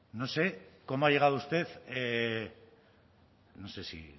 no sé cómo ha llegado usted no sé si